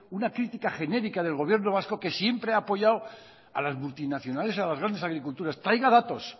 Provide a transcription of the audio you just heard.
una crítica genérica del gobierno vasco que siempre ha apoyado a las multinacionales a las grandes agriculturas traiga datos